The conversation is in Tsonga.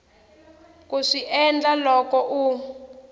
ku swi endla loko u